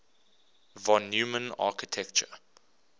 von neumann architecture